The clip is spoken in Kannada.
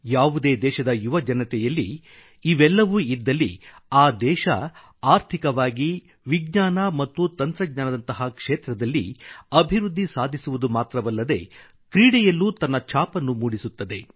ಯಾವುದೇ ದೇಶದ ಯುವಜನತೆಯಲ್ಲಿ ಇವೆಲ್ಲವೂ ಇದ್ದಲ್ಲಿ ಆ ದೇಶ ಆರ್ಥಿಕವಾಗಿ ವಿಜ್ಞಾನ ಮತ್ತು ತಂತ್ರಜ್ಞಾನದಂತಹ ಕ್ಷೇತ್ರದಲ್ಲಿ ಅಭಿವೃದ್ಧಿ ಸಾಧಿಸುವುದು ಮಾತ್ರವಲ್ಲದೆ ಕ್ರೀಡೆಯಲ್ಲೂ ತನ್ನ ಛಾಪನ್ನು ಮೂಡಿಸುತ್ತದೆ